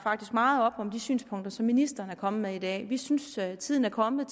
meget op om de synspunkter som ministeren er kommet med i dag vi synes at tiden er kommet